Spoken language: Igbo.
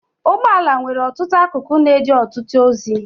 Ụgbọala nwere ọtụtụ akụkụ na-eje ọtụtụ ozi.